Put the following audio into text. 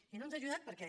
i no ens ha ajudat perquè